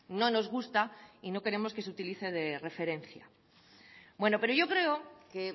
no nos gusta y no queremos que se utilice de referencia bueno pero yo creo que